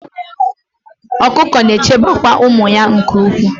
Ọkụkọ na-echekwaba ụmụ ha nke ukwuu